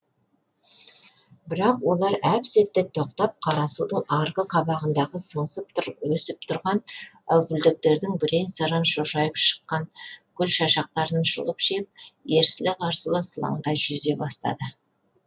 бірақ олар әп сәтте тоқтап қарасудың арғы қабағындағы сыңсып өсіп тұрған әупілдектердің бірен саран шошайып шыққан гүл шашақтарын жұлып жеп ерсілі қарсылы сылаңдай жүзе бастады